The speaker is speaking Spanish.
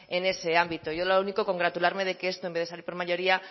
en ese ámbito yo lo único congratularme de que esto en vez de salir por mayoría